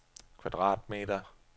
kvadratmeter